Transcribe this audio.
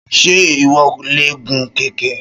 Ṣé ìwọ lè gun kẹ̀kẹ́?